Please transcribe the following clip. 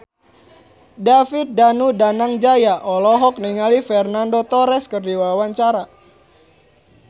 David Danu Danangjaya olohok ningali Fernando Torres keur diwawancara